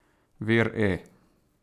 Vir E!